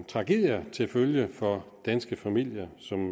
tragedier til følge for danske familier som